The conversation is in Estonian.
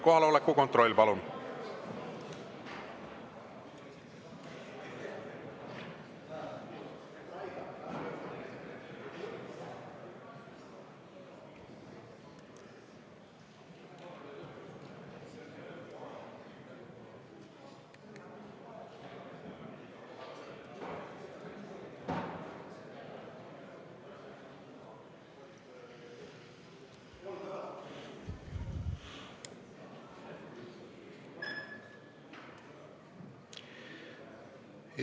Kohaloleku kontroll, palun!